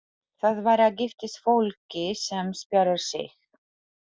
Það bara giftist fólki sem spjarar sig.